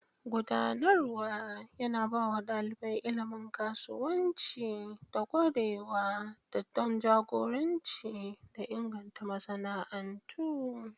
Gudanarwa yana ba wa ɗalibai ilimin kasuwanci da ƙwarewa don jagoranci da inganta masana'antu.